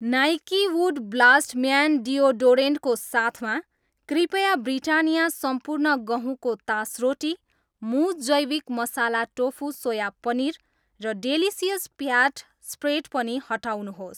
Nike wood blast man deodorant को साथमा, कृपया ब्रिटानिया सम्पूर्ण गहुँको तोसरोटी, मुज जैविक मसाला टोफू सोया पनिर र डेलिसियस फ्याट स्प्रेड पनि हटाउनुहोस्।